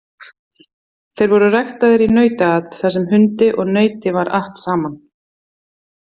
Þeir voru ræktaðir í nautaat þar sem hundi og nauti var att saman.